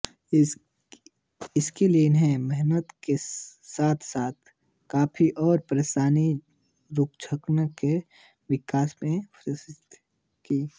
इसके लिए उन्होंने मेहनत के साथसाथ किफ़ायत और पेशेवराना रुझान के विकास की सिफ़ारिश की